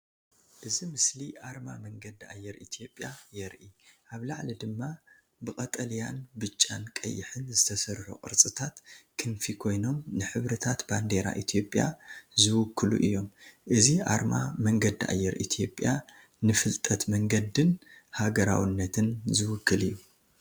እዚ ምስሊ ኣርማ መንገዲ ኣየር ኢትዮጵያ የርኢ። ኣብ ላዕሊ ድማ ብቀጠልያን ብጫን ቀይሕን ዝተሰርሑ ቅርጽታት ክንፊ ኮይኖም ንሕብርታት ባንዴራ ኢትዮጵያ ዝውክሉ እዮም። እዚ ኣርማ መንገዲ ኣየር ኢትዮጵያ ንፍልጠት መንገዲን ሃገራውነትን ዝውክል እዩ።